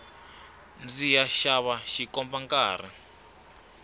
ndziya xava xikomba nkarhi